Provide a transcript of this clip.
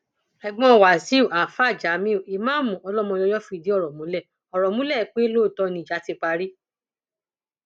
ẹgbọn wáṣíù àáfáà jamiu ìmáàmù ọlọmọyọyọ fìdí ọrọ múlẹ ọrọ múlẹ pé lóòótọ ni ìjà ti parí